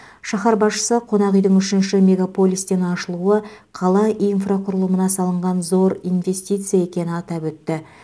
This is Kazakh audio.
шаһар басшысы қонақ үйдің үшінші мегаполистен ашылуы қала инфрақұрылымына салынған зор инвестиция екені атап өтті